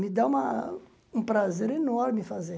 Me dá uma um prazer enorme fazer.